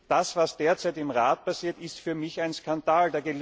Das, was derzeit im Rat passiert, ist für mich ein Skandal.